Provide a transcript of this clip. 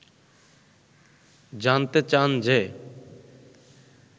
জানতে চান যে